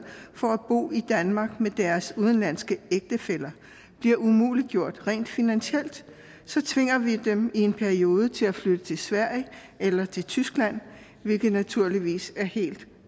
for at bo i danmark med deres udenlandske ægtefælle bliver umuliggjort rent finansielt tvinger vi dem i en periode til at flytte til sverige eller til tyskland hvilket naturligvis er helt